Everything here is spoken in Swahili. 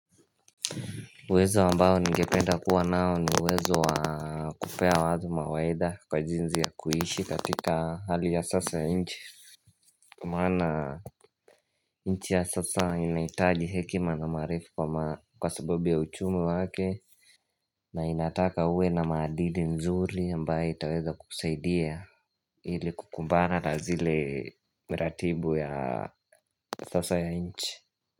Uwezo ambao ningependa kuwa nao ni uwezo wa kupea watu mawaidha kwa jinsi ya kuishi katika hali ya sasa ya nchi Kwa maana nchi ya sasa inahitaji hekima na maarifa kwa sababu ya uchumi wake na inataka uwe na maadili nzuri ambaye itaweza kusaidia ili kukumbana na zile miratibu ya sasa ya nchi.